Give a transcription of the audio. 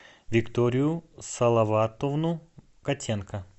викторию салаватовну котенко